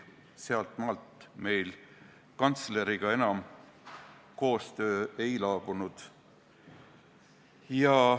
Sealtmaalt meil kantsleriga enam koostöö ei laabunud.